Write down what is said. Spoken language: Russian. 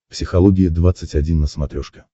психология двадцать один на смотрешке